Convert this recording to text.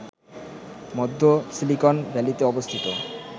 মধ্য সিলিকন ভ্যালীতে অবস্থিত